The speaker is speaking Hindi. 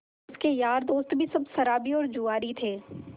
उसके यार दोस्त भी सब शराबी और जुआरी थे